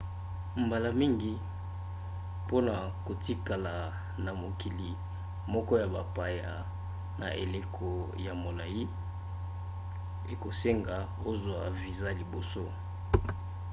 mbala mingi mpona kotikala na mokili moko ya bapaya na eleko ya molai ekosenga ozwa viza liboso